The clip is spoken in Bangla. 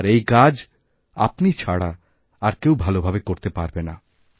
আর এইকাজ আপনি ছাড়া আর কেউ ভাল ভাবে করতে পারবে না